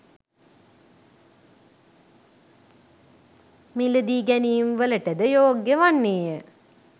මිලදී ගැනීම්වලටද යෝග්‍ය වන්නේය.